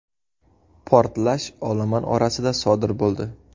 Portlash olomon orasida sodir bo‘ldi.